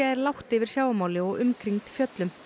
er lágt yfir sjávarmáli og umkringd fjöllum